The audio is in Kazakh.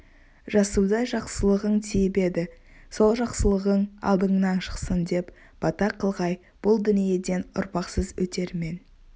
жасудай жақсылығың тиіп еді сол жақсылығың алдыңнан шықсын деп бата қылғай бұл дүниеден ұрпақсыз өтер мен